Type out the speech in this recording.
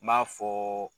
N b'a fɔ